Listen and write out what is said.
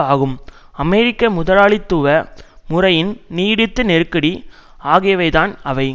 ஆகும் அமெரிக்க முதலாளித்துவ முறையின் நிடுத்து நெருக்கடி ஆகியவைதான் அவை